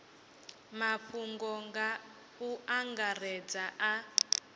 mafhungo nga u angaredza a